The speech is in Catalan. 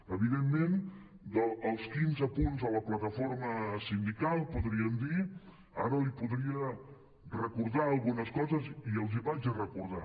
evidentment dels quinze punts de la plataforma sindical podríem dir ara li po·dria recordar algunes coses i les hi vaig a recordar